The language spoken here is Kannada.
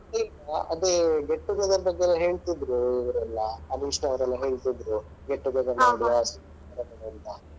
ಆ ಅದೇ get together ಬಗ್ಗೆ ಹೇಳ್ತಿದ್ರು ಇವರೆಲ್ಲ ಅನುಷ್ ನವರೆಲ್ಲ ಹೇಳ್ತಿದ್ರು get together ಮಾಡುವ ಅಂತ.